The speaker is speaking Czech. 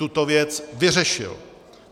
Tuto věc vyřešil.